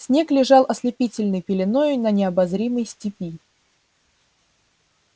снег лежал ослепительной пеленою на необозримой степи